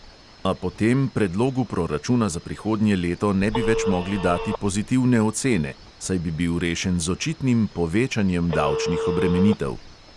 A potem predlogu proračuna za prihodnje leto ne bi več mogli dati pozitivne ocene, saj bi bil rešen z očitnim povečanjem davčnih obremenitev.